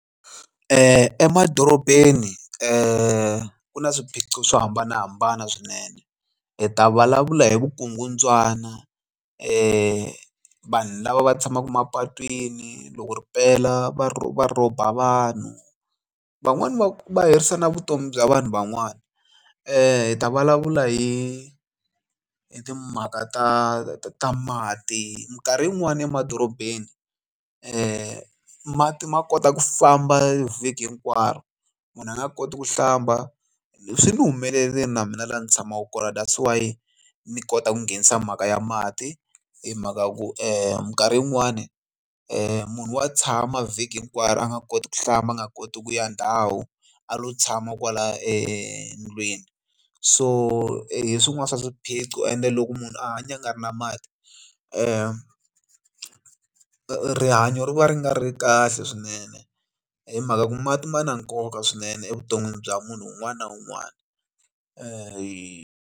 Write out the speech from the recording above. Emadorobeni ku na swiphiqo swo hambanahambana swinene hi ta vulavula hi vukungundzwana va vanhu lava va tshamaka mapatwini loko ri pela va va rhoba vanhu van'wani va herisa na vutomi bya vanhu van'wana hi ta vulavula hi hi timhaka ta ta mati minkarhi yin'wani emadorobeni mati ma kota ku famba vhiki hinkwaro munhu a nga koti ku hlamba swi ni humelerile na mina laha ndzi tshamaka kona that's why ni kota ku nghenisa mhaka ya mati hi mhaka ya ku minkarhi yin'wani munhu wa tshama vhiki hinkwaro a nga koti ku hlamba a nga koti ku ya ndhawu a lo tshama kwala endlwini so hi swin'wana swa swiphiqo ende loko munhu a hanya a nga ri na mati rihanyo ri va ri nga ri kahle swinene hi mhaka ku mati ma na nkoka swinene evuton'wini bya munhu un'wana na un'wana .